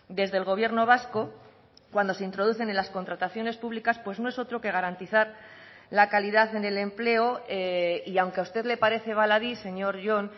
desde el gobierno vasco cuando se introducen en las contrataciones públicas pues no es otro que garantizar la calidad en el empleo y aunque a usted le parece baladí señor jon